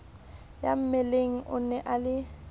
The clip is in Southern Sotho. ya mmeleng o na le